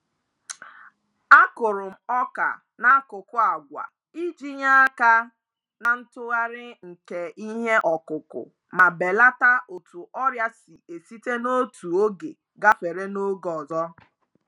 Akụrụ m ọka n'akụkụ àgwà iji nye aka na ntụgharị nke iheọkụkụ ma belata otu ọrịa si esite n'otu oge gafere n'oge ọzọ.